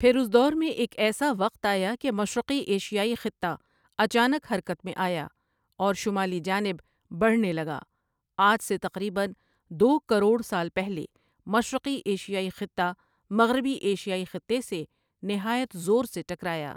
پھر اس دور میں ایک ایسا وقت آیا کہ مشرقی ایشیائی خطہ اچانک حرکت میں آیا اور شمالی جانب بڑھنے لگا آج سے تقریباً دو کروڑ سال پہلے مشرقی ایشیائی خطہ مغربی ایشیائی خطے سے نہایت زور سے ٹکرایا ۔